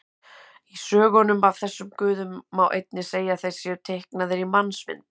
Í sögunum af þessum guðum má einnig segja að þeir séu teiknaðir í mannsmynd.